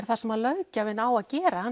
það sem að löggjafinn á að gera